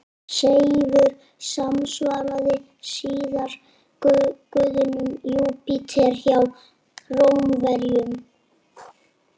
Seifur samsvaraði síðar guðinum Júpíter hjá Rómverjum.